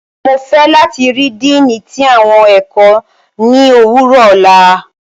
Mo fẹ lati rii Diini ti awọn ẹkọ ni owurọ ọla!